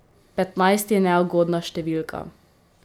Petnajst je neugodna številka.